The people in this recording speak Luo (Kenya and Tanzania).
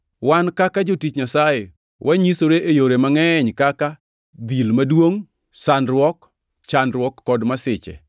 Wan kaka jotich Nyasaye wanyisore e yore mangʼeny kaka: dhil maduongʼ, sandruok, chandruok kod masiche;